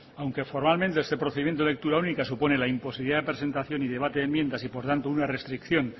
aunque formalmente este procedimiento de lectura única supone la imposibilidad de presentación y debate de enmiendas y por tanto una restricción